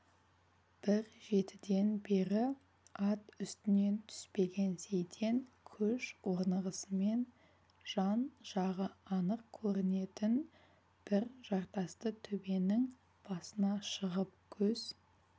бір жетіден бері ат үстінен түспеген сейтен көш орнығысымен жан-жағы анық көрінетін бір жартасты төбенің басына шығып көз